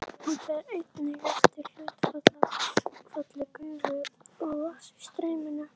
Hann fer einnig eftir hlutfalli gufu og vatns í streyminu.